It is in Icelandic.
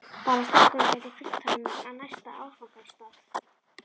Bara að strákurinn gæti fylgt honum á næsta áfangastað.